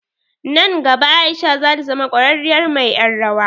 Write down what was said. Nan gaba Aisha zata zama ƙwararriyar mai ƴar rawa.